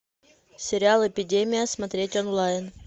сериал эпидемия смотреть онлайн